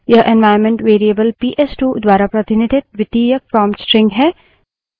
यह environment variable PS two द्वारा प्रतिनिधित द्वितीयक prompt string है